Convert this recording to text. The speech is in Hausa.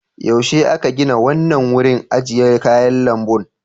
Yaushe aka gina wannan wurin ajiye kayan lambun?